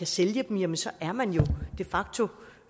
sælge dem jamen så er man jo de facto